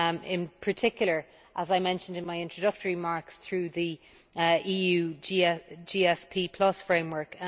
in particular, as I mentioned in my introductory remarks, through the EU GSP framework.